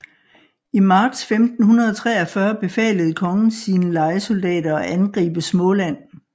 I marts 1543 befalede kongen sine lejesoldater at angribe Småland